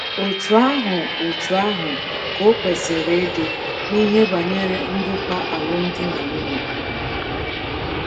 Otú ahụ Otú ahụ ka o kwesịrị ịdị n’ihe banyere ndokwa alụmdi na nwunye.